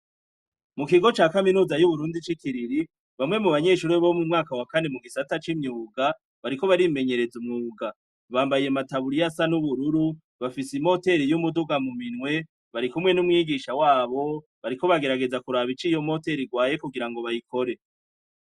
Mu kigo ca kaminuza y'uburundi c'ikiriri bamwe mu banyeshuri bo mu mwaka wa kani mu gisata c'imyuga bariko barimenyereza umwuga bambaye mataburi yo asa n'ubururu bafise i moteri y'umuduga muminwe barikumwe n'umwigisha wabo bariko bagerageza kuraba icoiyo motero irwaye kugira ngo bayikore.